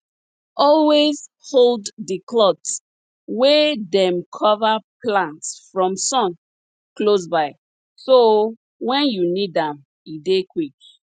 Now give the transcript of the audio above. always hold di cloth wey dem cover plant from sun close by so wen you need am e dey quick